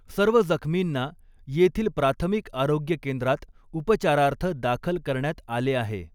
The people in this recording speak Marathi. सर्व जखमींना येथील प्राथमिक आरोग्य केंद्रात उपचारार्थ दाखल करण्यात आले आहे.